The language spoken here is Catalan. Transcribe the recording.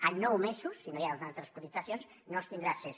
a nou mesos si no hi ha altres cotitzacions no s’hi tindrà accés